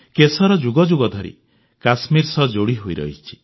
କେଶର ଯୁଗଯୁଗ ଧରି କଶ୍ମୀର ସହ ଯୋଡ଼ି ହୋଇରହିଛି